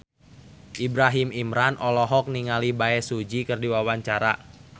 Ibrahim Imran olohok ningali Bae Su Ji keur diwawancara